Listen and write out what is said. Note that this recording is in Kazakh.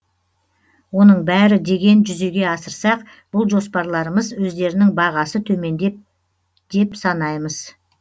оның бәрі деген жүзеге асырсақ бұл жоспарларымыз өздерінің бағасы төмендеп деп санаймыз